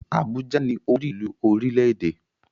Abuja ni orílùú orílẹ́-èdè.